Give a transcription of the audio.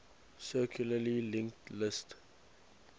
circularly linked list